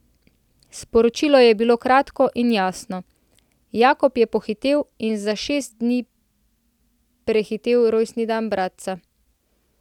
Sporočilo je bilo kratko in jasno: 'Jakob je pohitel in za šest dni prehitel rojstni dan bratca.